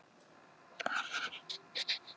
Ég fékk líka lánað flott sjónvarp.